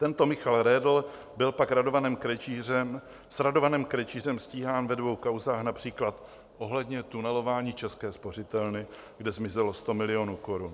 Tento Michal Redl byl pak s Radovanem Krejčířem stíhán ve dvou kauzách, například ohledně tunelování České spořitelny, kde zmizelo 100 milionů korun.